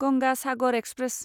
Ganga Sagar express